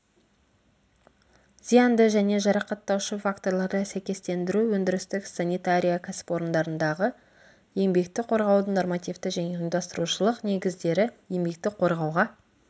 зиянды және жарақаттаушы факторларды сәйкестендіру өндірістік санитария кәсіпорындардағы еңбекті қорғаудың нормативті және ұйымдастырушылық негіздері еңбекті қорғауға